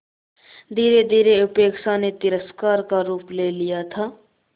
धीरेधीरे उपेक्षा ने तिरस्कार का रूप ले लिया था